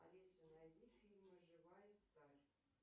алиса найди фильм живая сталь